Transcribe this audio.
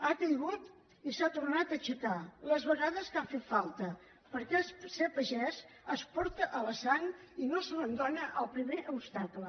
ha caigut i s’ha tornat a aixecar les vegades que ha fet falta perquè ser pagès es porta a la sang i no s’abandona al primer obstacle